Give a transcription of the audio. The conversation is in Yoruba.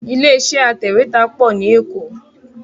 Ilé iṣẹ́ atẹ̀wẹ́tà pọ̀ ní Èkó